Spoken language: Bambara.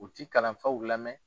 U tɛ kalanfaw lamɛn